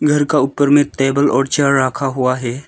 घर का ऊपर में टेबल और चेयर रखा हुआ है।